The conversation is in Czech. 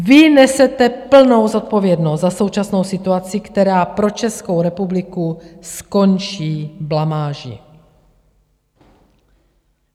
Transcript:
Vy nesete plnou zodpovědnost za současnou situaci, která pro Českou republiku skončí blamáží.